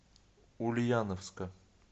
ульяновска